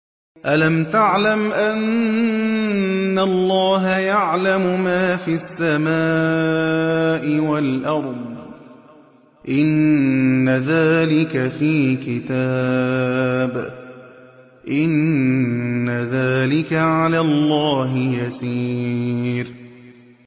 أَلَمْ تَعْلَمْ أَنَّ اللَّهَ يَعْلَمُ مَا فِي السَّمَاءِ وَالْأَرْضِ ۗ إِنَّ ذَٰلِكَ فِي كِتَابٍ ۚ إِنَّ ذَٰلِكَ عَلَى اللَّهِ يَسِيرٌ